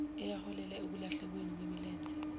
eyaholela ekulahlekelweni wumlenze